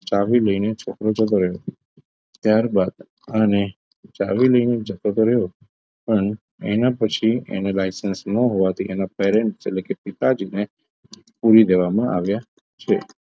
ચાવી લઈને છોકરો જતો રહ્યો ત્યારબાદ અને ચાવી લઈને જતો તો રહ્યો પણ એના પછી એને licence ન હોવાથી એના parents એટલે કે પિતાજીને પુરી દેવામાં આવ્યા છે